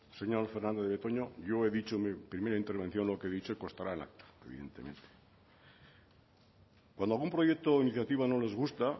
señor fernandez de betoño yo he dicho en mi primera intervención lo que he dicho y constará en acta cuando algún proyecto o iniciativa no les gusta